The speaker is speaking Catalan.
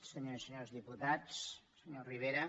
senyores i senyors diputats senyor rivera